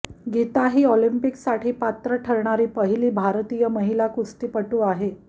गीता ही ओलंपिकसाठी पात्र ठरणारी पहिली भारतीय महिला कुस्तीपटू आहे